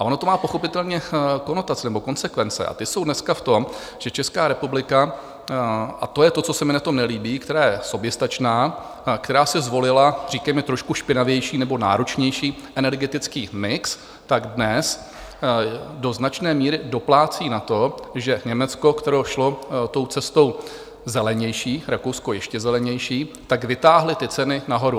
A ono to má, pochopitelně, konotace nebo konsekvence, a ty jsou dneska v tom, že Česká republika, a to je to, co se mi na tom nelíbí, která je soběstačná, která si zvolila, říkejme, trošku špinavější nebo náročnější energetický mix, tak dnes do značné míry doplácí na to, že Německo, které šlo tou cestou zelenější, Rakousko ještě zelenější, tak vytáhly ty ceny nahoru.